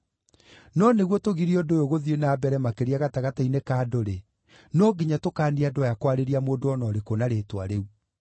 No nĩguo tũgirie ũndũ ũyũ gũthiĩ na mbere makĩria gatagatĩ-inĩ ka andũ-rĩ, no nginya tũkaanie andũ aya kwarĩria mũndũ o na ũrĩkũ na rĩĩtwa rĩu.”